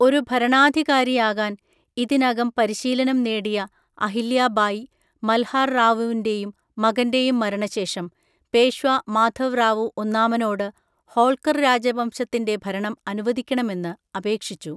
ഒരു ഭരണാധികാരിയാകാൻ ഇതിനകം പരിശീലനം നേടിയ അഹില്യ ബായി, മൽഹാർ റാവുവിന്റെയും മകന്റെയും മരണശേഷം പേഷ്വാ മാധവ് റാവു ഒന്നാമനോട് ഹോൾക്കർ രാജവംശത്തിന്റെ ഭരണം അനുവദിക്കണമെന്ന് അപേക്ഷിച്ചു.